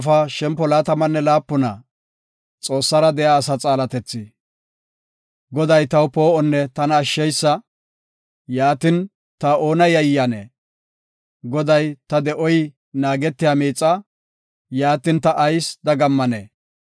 Goday taw poo7onne tana ashsheysa; yaatin, ta oona yayiyanee? Goday, ta de7oy naagetiya miixaa; yaatin, ta ayis dagammanee?